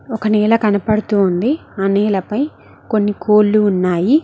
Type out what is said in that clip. ఒక నేల కనబడుతుంది ఆ నేలపై కొన్ని కోళ్లు ఉన్నాయి.